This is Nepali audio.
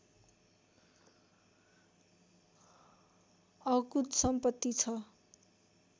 अकुत सम्पत्ति छ